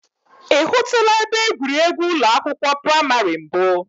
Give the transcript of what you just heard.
I hụtụla ebe egwuregwu ụlọ akwụkwọ praimari mbụ?